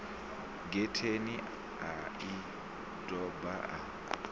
getheni a i doba a